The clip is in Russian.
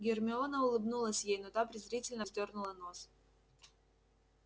гермиона улыбнулась ей но та презрительно вздёрнула нос